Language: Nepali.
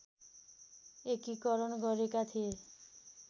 एकीकरण गरेका थिए